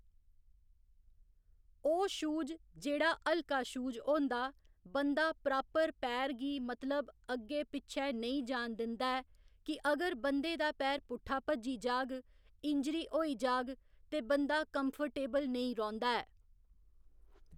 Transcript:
ओह् शूज जेह्‌ड़ा हल्का शूज होंदा बंदा प्रापर पैर गी मतलव अग्गै पिच्छै नेईं जान दिंदा ऐ कि अगर बंदे दा पैर पुट्ठा भज्जी जाह्‌ग इंजरी होई जाह्ग ते बंदा कंफर्टेवल नेईं रौंह्‌दा ऐ